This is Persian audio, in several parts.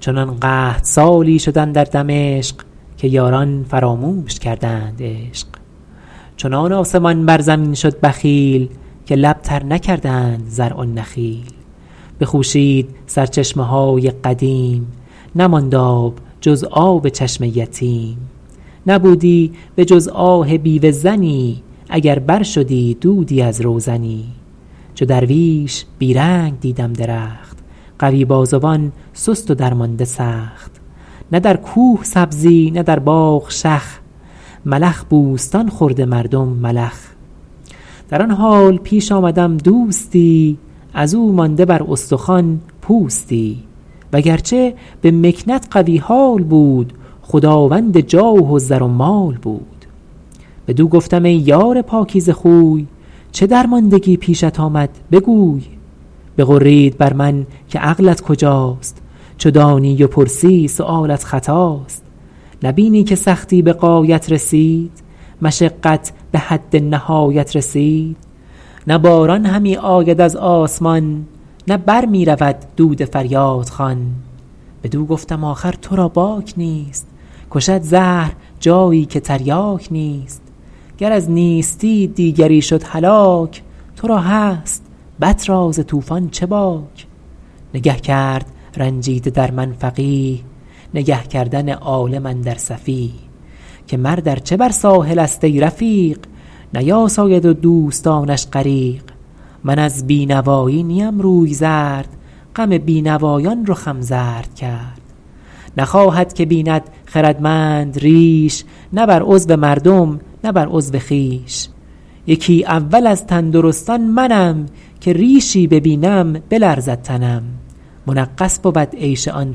چنان قحط سالی شد اندر دمشق که یاران فراموش کردند عشق چنان آسمان بر زمین شد بخیل که لب تر نکردند زرع و نخیل بخوشید سرچشمه های قدیم نماند آب جز آب چشم یتیم نبودی به جز آه بیوه زنی اگر بر شدی دودی از روزنی چو درویش بی رنگ دیدم درخت قوی بازوان سست و درمانده سخت نه در کوه سبزی نه در باغ شخ ملخ بوستان خورده مردم ملخ در آن حال پیش آمدم دوستی از او مانده بر استخوان پوستی وگرچه به مکنت قوی حال بود خداوند جاه و زر و مال بود بدو گفتم ای یار پاکیزه خوی چه درماندگی پیشت آمد بگوی بغرید بر من که عقلت کجاست چو دانی و پرسی سؤالت خطاست نبینی که سختی به غایت رسید مشقت به حد نهایت رسید نه باران همی آید از آسمان نه بر می رود دود فریادخوان بدو گفتم آخر تو را باک نیست کشد زهر جایی که تریاک نیست گر از نیستی دیگری شد هلاک تو را هست بط را ز طوفان چه باک نگه کرد رنجیده در من فقیه نگه کردن عالم اندر سفیه که مرد ارچه بر ساحل است ای رفیق نیاساید و دوستانش غریق من از بینوایی نیم روی زرد غم بینوایان رخم زرد کرد نخواهد که بیند خردمند ریش نه بر عضو مردم نه بر عضو خویش یکی اول از تندرستان منم که ریشی ببینم بلرزد تنم منغص بود عیش آن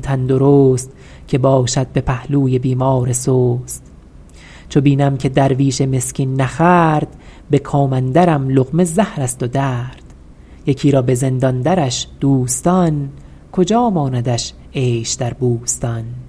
تندرست که باشد به پهلوی بیمار سست چو بینم که درویش مسکین نخورد به کام اندرم لقمه زهر است و درد یکی را به زندان درش دوستان کجا ماندش عیش در بوستان